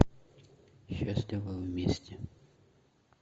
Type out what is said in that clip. счастливы вместе